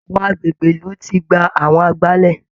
Àwọn agbègbè ìlú ti gba àwọn agbálẹ̀